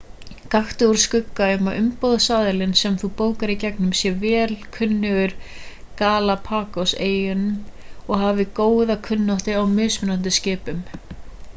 gakktu úr skugga um að umboðsaðilinn sem þú bókar í gegnum sé vel kunnugur galapagoseyjum og hafi góða kunnáttu á mismunandi skipum